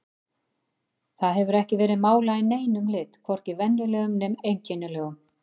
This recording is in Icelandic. Það hefur ekki verið málað í neinum lit, hvorki venjulegum né einkennilegum.